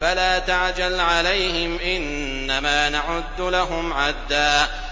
فَلَا تَعْجَلْ عَلَيْهِمْ ۖ إِنَّمَا نَعُدُّ لَهُمْ عَدًّا